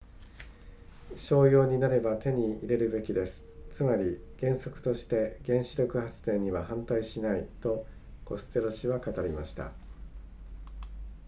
商用になれば手に入れるべきですつまり原則として原子力発電には反対しないとコステロ氏は語りました